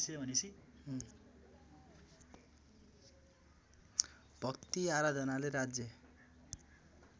भक्ति आराधनाले राज्य